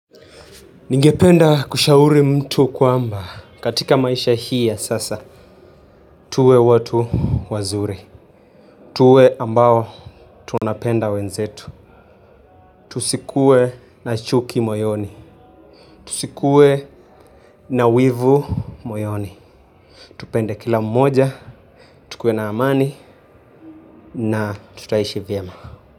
Ningependa kushauri mtu kwamba, katika maisha hii ya sasa, tuwe watu wazuri, tuwe ambao tunapenda wenzetu, tusikue na chuki moyoni, tusikue na wivu moyoni, tupende kila mmoja, tukue na amani, na tutaishi vyema.